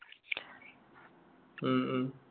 മ് മ്